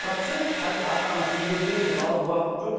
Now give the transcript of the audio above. процент қазір ата анасы үйге келдім балам уақытым жоқ